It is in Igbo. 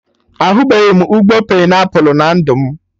Ahubeghi m ụgbọ painiapụl na ndụ m